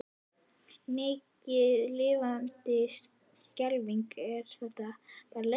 Mikið lifandis skelfing er þetta barn leiðinlegt.